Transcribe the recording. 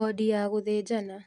Wondi ya gũthĩnjana